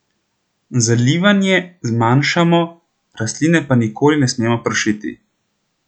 Zalivanje zmanjšamo, rastline pa nikoli ne smemo pršiti.